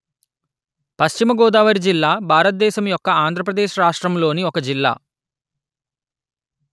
పశ్చిమ గోదావరి జిల్లా భారత దేశము యొక్క ఆంధ్ర ప్రదేశ్ రాష్ట్రములోని ఒక జిల్లా